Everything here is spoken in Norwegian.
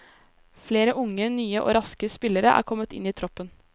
Flere unge, nye og raske spillere er kommet inn i troppen.